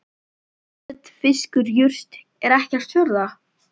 Kjöt fiskur jurt er ekkert fjórða?